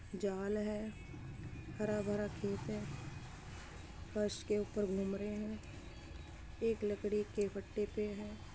जाल है हरा भरा खेत है और इसके ऊपर घूम रहे हैं। एक लड़के के पट्टे पे है।